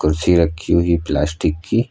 कुर्सी रखी हुई है प्लास्टिक की।